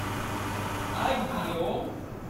агео